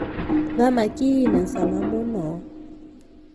thamaki ĩna cama muno